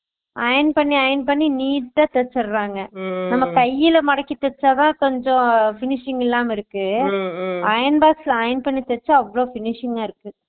Ion பண்ணி ion பண்ணி neet ட தேச்சிர்றாங்க நம்ம கைல மடக்கி தேச்சதா கொஞ்சம் finishing இல்லாம இருக்கு iron box ல ion பண்ணி தேச்சா அவ்ளோ finishing க இருக்கு